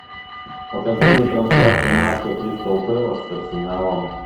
покажи мне трансляцию матча кристал пэлас с арсеналом